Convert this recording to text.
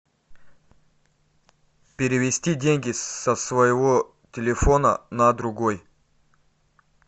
перевести деньги со своего телефона на другой